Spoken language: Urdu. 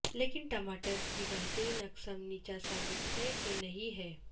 لیکن ٹماٹر کی بہترین اقسام نیچا ثابت ہے کہ نہیں ہے